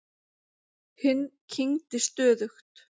Hinn kyngdi stöðugt.